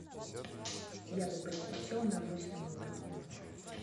я бы предпочел на обычном молоке